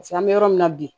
an bɛ yɔrɔ min na bi